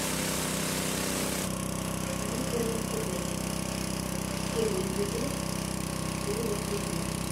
мистер мерседес первый эпизод первого сезона